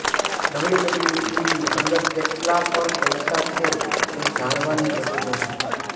W W ઇની અંદર કેટલા પણ પૈસા છે તે જણાવવાની જરૂર નથી